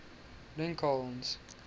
lincoln's